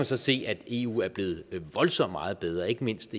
så se at eu er blevet voldsomt meget bedre og ikke mindst